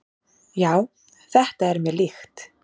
"""Já, þetta er mér líkt."""